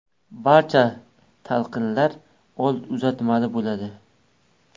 Barcha talqinlar old uzatmali bo‘ladi.